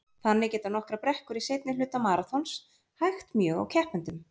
Þannig geta nokkrar brekkur í seinni hluta maraþons hægt mjög á keppendum.